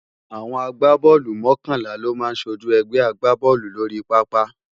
Awòn ágbábòlú mòkònlá lò má sójú ègbè àgbábòlú lóri pàápá